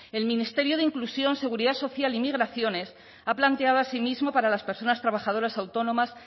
el ministerio de inclusión seguridad social e inmigraciones ha planteado así mismo para las personas trabajadoras autónomas